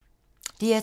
DR2